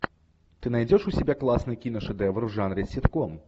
ты найдешь у себя классный киношедевр в жанре ситком